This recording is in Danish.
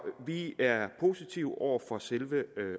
vi er positive over for selve